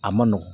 A man nɔgɔn